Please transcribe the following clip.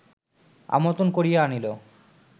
আমন্ত্রণ করিয়া আনিল